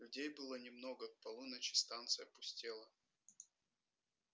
людей было немного к полуночи станция пустела